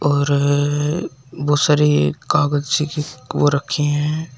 और है बहुत सारी कागज ओ रखी हैं।